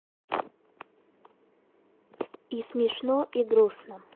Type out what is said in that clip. и смешно и грустно